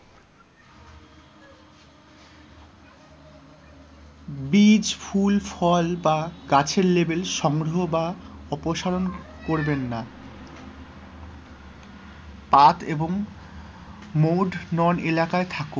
বীজ, ফুল, ফল বা গাছের label সংগ্রহ বা অপসারণ করবেন না, path এবং mode known এলাকায় থাকুন,